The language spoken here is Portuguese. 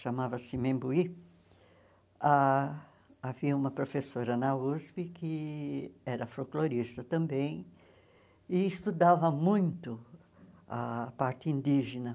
chamava-se Membuí, ah havia uma professora na USP que era folclorista também e estudava muito a parte indígena.